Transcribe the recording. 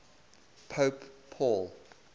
pope paul